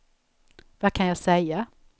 vad kan jag säga